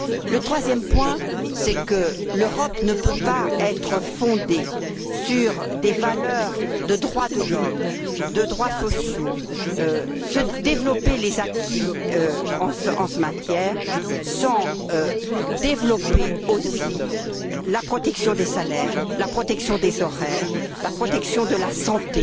Le troisième point, c'est que l'Europe ne peut pas être fondée sur des valeurs de droits de l'homme, de droits sociaux, développer les acquis en la matière sans développer aussi la protection des salaires, la protection des horaires, la protection de la santé,